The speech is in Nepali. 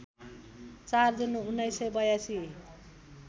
४ जुन १९८२